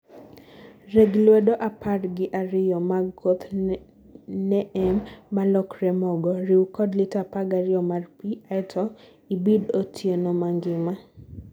reg lwedo apar gi ariyo mag koth neem malokre mogo, riw kod liter 12 mar pii aeto ibid otieno mangima